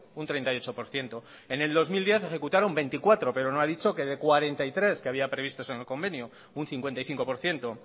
un treinta y ocho por ciento en el dos mil diez ejecutaron veinticuatro pero no ha dicho que de cuarenta y tres que había previsto eso en el convenio un cincuenta y cinco por ciento